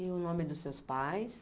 E o nome dos seus pais?